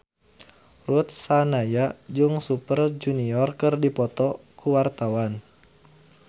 Ruth Sahanaya jeung Super Junior keur dipoto ku wartawan